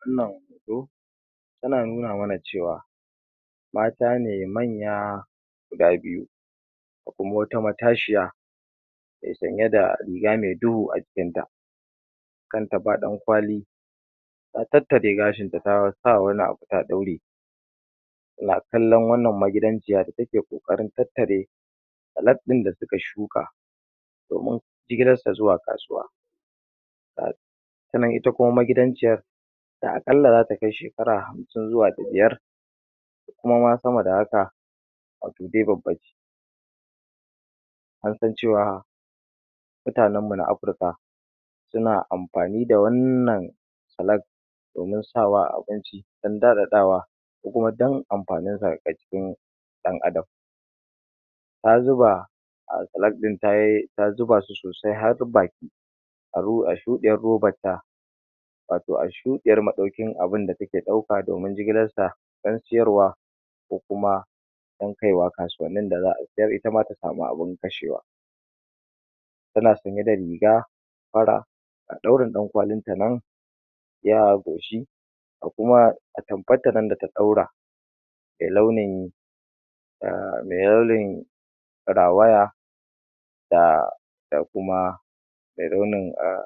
wannan hoto yana nuna mana cewa mata ne manya guda biyu akwai kuma wata matashiya me sanye da riga me duhu a jikinta kanta ba dankwali ta tattare gashinta ta sa wani abu ta daure tana kallon wannan magidanciya da take kokarin tattare salak dain da suka shuka domin jigilarsa zuwa kasuwa sannan ita kuma magidanciyan da akalla zata kai shekara hamsin zuwa da biyar ko kuma sama da haka wato dai babbace an san cewa mutanenmu na Afrika suna amfani da wannan salak domin sawa a abinci dan dadadawa ko kuma dan amfaninsa a jikin dan adam ta zuba salak din ta um zuba su sosai har baki a shudiyar robanta wato a shudiyar madaukin abin da take dauka domin jigilansa dan siyarwa ko kuma dan kai wa kasuwannin da za a siyar itama ta samu abin kashewa tana sanye da riga fara ga daurin dankwalinta nan iya goshi ga kuma atamfanta nan da ta dora me launin da me yalwin rawaya da kuma me launin um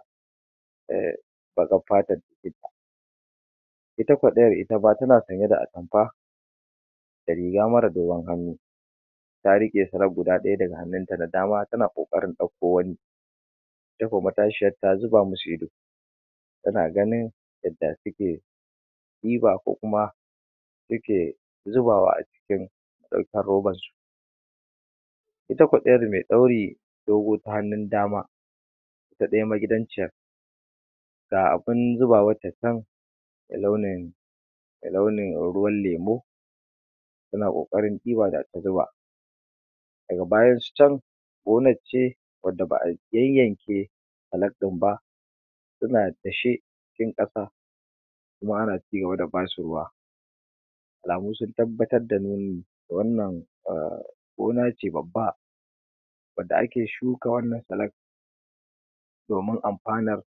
um baqar fatan da take da ita ko dayar itama tana sanye da atamfa da riga mara dogon hannu ta rike salak guda daya daga hannunta na dama tana kokarin dauko wani ita ko matashiyan ta zuba masu ido tana ganin yadda suke diba ko kuma suke zubawa a cikin daukan roban su itako dayar me dauri dogo ta hannun dama ta daya magidanciyan ga abin zubawan ta chan me launin ruwan lemu suna kokarin diba da ta zuba daga bayansu chan gonance wanda ba a yayyanke salak din ba suna dashe cikin kasa kuma ana cigaba da basu ruwa alamu sun tabbatar da nuni wannan um gona ce babba wanda ake shuka wannan salak din domin amfanan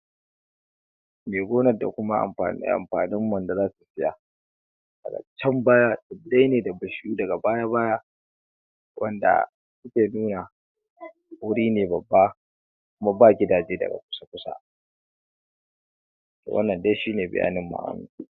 me gonar da kuma amfanin um amfanin wanda zasu siya chan baya daya ne da um daga baya baya wanda suke nuna wuri ne babba kuma ba gidaje daga kusa kusa wannan dai shine bayaninmu anan